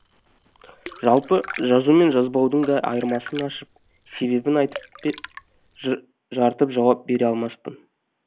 жалпы жазу мен жазбаудың да айырмасын ашып себебін айтып жарытып жауап бере алмаспын